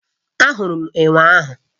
Ahụrụ m enwe ahụ